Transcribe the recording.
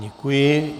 Děkuji.